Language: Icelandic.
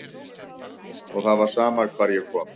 Og það var sama hvar ég kom.